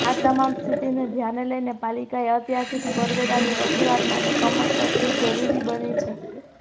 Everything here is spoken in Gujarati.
આ તમામ સ્થિતિને ધ્યાને લઈને પાલિકાએ અત્યારથીજ કરવેરાની વસુલાત માટે કમર કસવી જરૂરી બની છે